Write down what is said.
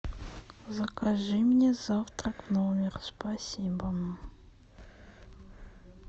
закажи мне завтрак в номер спасибо